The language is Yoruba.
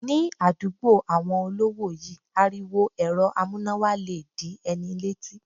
Ní àdúgbò àwọn olówó yí, ariwo èrọ amúnáwa le dí ẹni lẹ́tí.